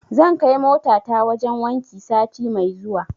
Zan kai motata wajen wanki sati mai zuwa.